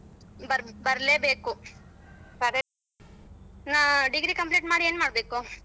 ಬರ್~ ಬರಲೇಬೇಕು. ಹ್ಮ degree complete ಮಾಡಿ ಏನ್ ಮಾಡ್ಬೇಕು?